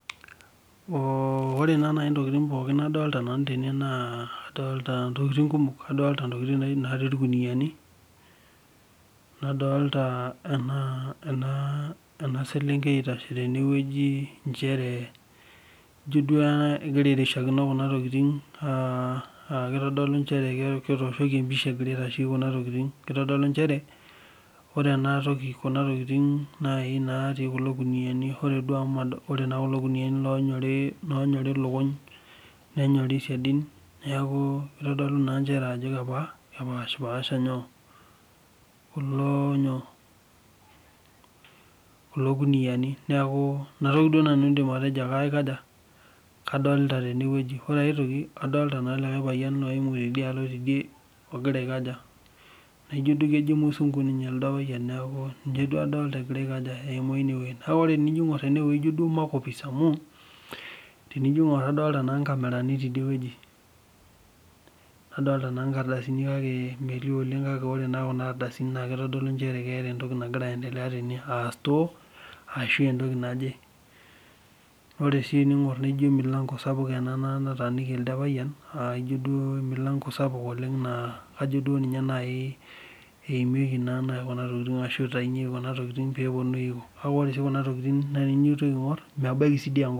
ore naa naajii ntokitin pookin nadolita tenewueji naa ekumok adolita ntokitin naa irkuniani nadolita ena selenkei etashi tenewueji njere egira duo airishakino Kuna tokitin aa kitodolu njere etoshoki empisha egira aitasheki Kuna tokitin kitodolu njere ore Kuna tokitin natii kulo kuniani ore kulo kuniani onyori lukuny nenyorii sidain neeku kitodolu Ajo kepashilasha kulo kuniani neeku enatoki nanu aidim ataa kadolita tenewueji ore aitoki kadolita likae payian ogira ayimu tioriog tidie naijio kimuzungu neeku ninye adolita egira ayimu enewueji neeku tenijo aing'or enewueji ijio makopis amu kadolita naa nkamerani tidie wueji nadolita naa nkardasini kake metii oleng kake ore naa Kuna ardasini naa kitodolu Ajo ore store aa entoki naaje ore sii tening'or naijio emilango sapuk nataniki ele payian naa kajo ninye eimikie Kuna tokitin ashu eitaunyikie Kuna tokitin pee epuonunui kake ore sii Kuna tokitin tenintoki aing'or nebaiki enkop